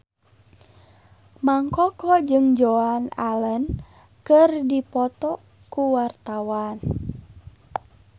Mang Koko jeung Joan Allen keur dipoto ku wartawan